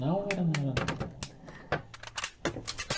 Na hora na hora.